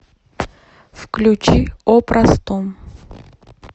включи о простом